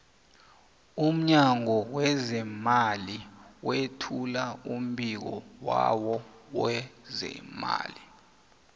umnyango wezeemali wethula umbiko wawo wonyaka